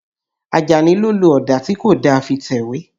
Àjàní ló lo ọ̀dà tí kò da fi tẹ̀wé.